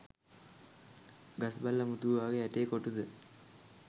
ගස් බල්ලා මුතු ඔයාගේ ඇටේ කොටුද?